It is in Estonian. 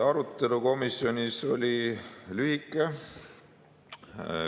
Arutelu komisjonis oli lühike.